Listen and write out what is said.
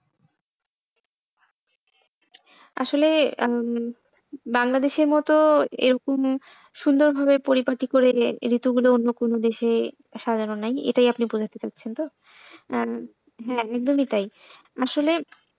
আসলে উম বাংলাদেশের মতো এরকম সুন্দরভাবে পরিপাটি করে ঋতুগুলো অন্য কোন দেশে সাজানো নাই, এটাই আপনি বোঝাতে চাচ্ছেন তো উম হ্যাঁ একদমই তাই। আসলে,